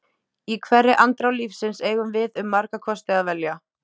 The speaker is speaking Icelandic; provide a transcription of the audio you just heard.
Í hverri andrá lífsins eigum við um marga kosti að velja.